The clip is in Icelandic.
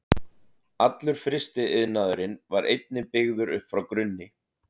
Allur frystiiðnaðurinn var einnig byggður upp frá grunni.